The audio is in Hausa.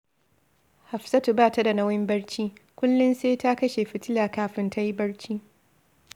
Hafsatu ba ta da nauyin barci, kullum sai ta kashe fitila kafinta ta yi barci